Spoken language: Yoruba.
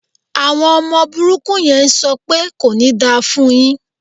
Àwọn ọmọ burúkú yẹn ń sọ pẹ́ "kò ní da fún un yín".